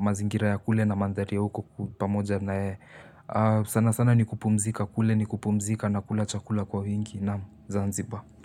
mazingira ya kule na mandhari ya huko pamoja na yeye. Sana sana ni kupumzika kule ni kupumzika na kula chakula kwa wingi. Zanziba.